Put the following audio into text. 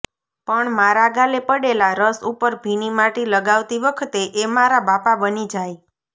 પણ મારા ગાલે પડેલા રસ ઉપર ભીની માટી લગાવતી વખતે એ મારા બાપા બની જાય